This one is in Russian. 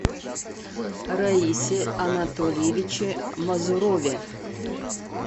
раисе анатольевиче мазурове